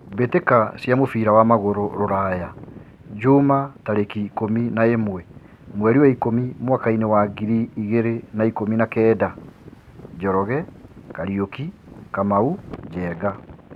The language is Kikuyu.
Mbĩ tĩ ka cia mũbira wa magũrũ Ruraya Jumaa tarĩ ki ikũmi na ĩ mwe mweri wa ikũmi mwakainĩ wa ngiri igĩ rĩ na ikũmi na kenda: Njoroge, Kariuki, Kamau, Njenga.